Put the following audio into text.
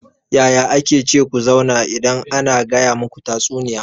Yaya ake ce ku zauna idan ana gaya muku tatsuniya?